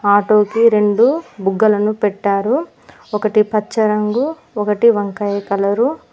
Auto కి రెండు బుగ్గలను పెట్టారు ఒకటి పచ్చ రంగు ఒకటి వంకాయ కలరు .